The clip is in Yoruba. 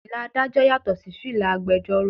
Fìlà Ádájọ́ yàtò sí fìlà agbẹjoro.